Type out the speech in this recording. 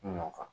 Nun kan